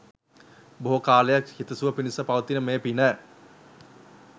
බොහෝ කාලයක් හිතසුව පිණිස පවතින මේ පින